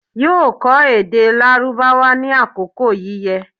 yóò kọ́ èdè Lárúbáwá ní àkókò yíyẹ